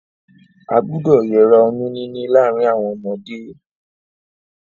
A gbúdọ̀ yera oyún níní láàrin àwon ọmọdé